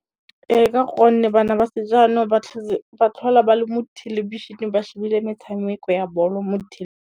Ee ka gonne bana ba sejanong ba tlhola ba le mo thelebišeneng ba shebile metshameko ya bolo mo .